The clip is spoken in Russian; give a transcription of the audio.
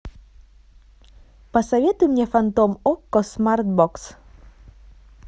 посоветуй мне фантом окко смартбокс